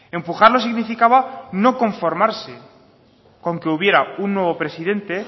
empujarlo significaba no conformarse con que hubiera un nuevo presidente